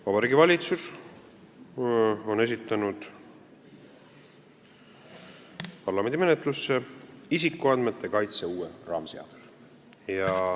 Vabariigi Valitsus on esitanud parlamendi menetlusse isikuandmete kaitse uue raamseaduse.